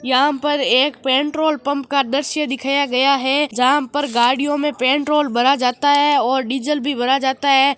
यहाँ पर एक पेट्रोल पंप का दृश्य दिखाया गया है जहाँ पर गाड़ियों में पेट्रोल भराया जाता है और डीजल भरा जाता है।